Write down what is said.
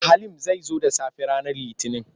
Halim zai zo da sassafe ranar Litinin.